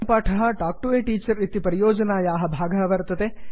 अयं पाठः talk to a teacher इति परियोजनायाः भागः वर्तते